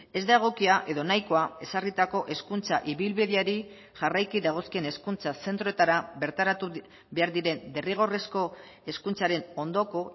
ez da egokia edo nahikoa ezarritako hezkuntza ibilbideari jarraiki dagozkien hezkuntza zentroetara bertaratu behar diren derrigorrezko hezkuntzaren ondoko